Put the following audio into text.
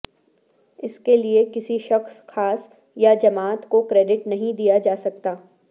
اس کے لیے کسی شخص خاص یا جماعت کو کریڈٹ نہیں دیا جا سکتا